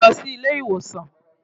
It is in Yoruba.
Tẹ̀lé mi lọ sí ilé ìwòsàn!